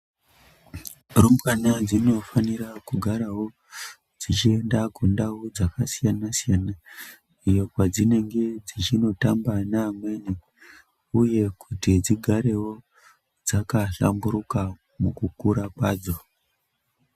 Rumbwana dzinofanira kugarawo, dzichienda kundau dzakasiyana-siyana, iyo kwadzinenge dzichinotamba neamweni, uye kuti dzigarewo dzakahlamburuka ,mukukura kwadzo.